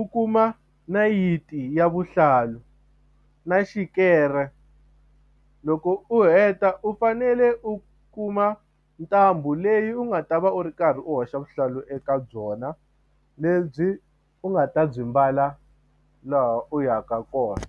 u kuma nayiti ya vuhlalu na xikere loko u heta u fanele u kuma ntambu leyi u nga ta va u ri karhi u hoxa vuhlalu eka byona lebyi u nga ta byi mbala laha u yaka kona.